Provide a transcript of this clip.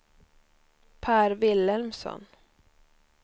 Pär Vilhelmsson